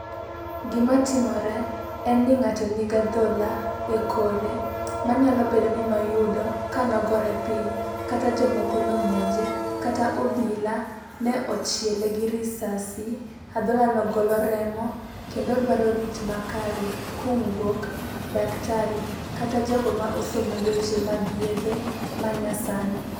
Gimatimore en ni ng'ato nigi adhola e kore manyalo bedo ni noyudo kanogore piny kata jomoko nomonje kata obila ne ochiele gi risasi. Adholano golo remo kendo odwaro rit makare kowuok daktari kata jogo ma osomo weche mag yedhe manyasani.